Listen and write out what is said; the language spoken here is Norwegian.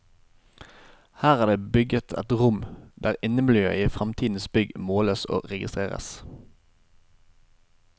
Her er det bygget et rom der innemiljøet i fremtidens bygg måles og registreres.